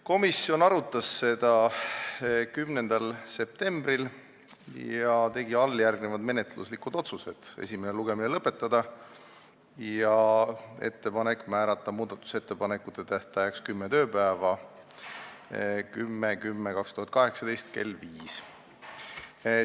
Komisjon arutas seda eelnõu 10. septembril ja tegi alljärgnevad menetluslikud otsused: teha ettepanekud esimene lugemine lõpetada ja määrata muudatusettepanekute esitamise tähtajaks kümme tööpäeva, st 10. oktoober 2018 kell 17.